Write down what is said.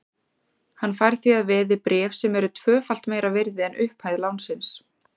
Hann fær því að veði bréf sem eru tvöfalt meira virði en upphæð lánsins.